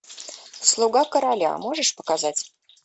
слуга короля можешь показать